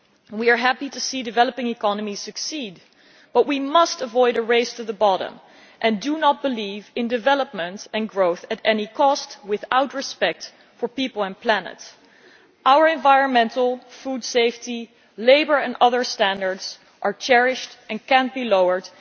We are happy to see developing economies succeed, but we must avoid a race to the bottom and do not believe in development and growth at any cost without respect for people and the planet. Our environmental, food safety, labour and other standards are cherished and cannot be lowered.